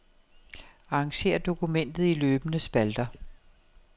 Arrangér dokumentet i løbende spalter.